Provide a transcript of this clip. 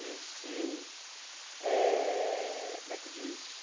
E se... eh Como é que diz?